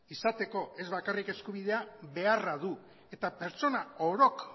izateko ez bakarrik eskubidea beharra du eta pertsona orok